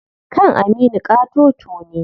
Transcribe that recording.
Kan Aminu ƙatoto ne.